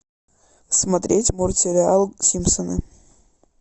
смотреть мультсериал симпсоны